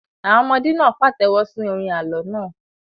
Àwọn ọmọdé náà pàtẹ́wọ́ sí orin àlọ́ náà.